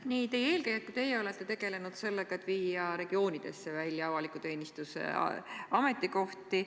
Nii teie eelkäijad kui ka teie olete tegelenud sellega, et viia regioonidesse üle avaliku teenistuse ametikohti.